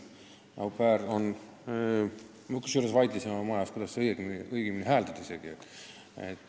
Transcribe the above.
Me isegi vaidlesime oma majas, kuidas seda au pair'i õigem hääldada on.